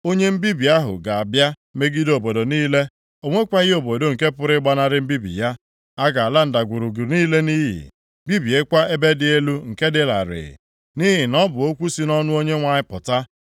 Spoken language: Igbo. Onye mbibi ahụ ga-abịa megide obodo niile. O nwekwaghị obodo nke pụrụ ịgbanarị mbibi ya. A ga-ala ndagwurugwu niile nʼiyi, bibiekwa ebe dị elu nke dị larịị, nʼihi na ọ bụ okwu si nʼọnụ Onyenwe anyị pụta.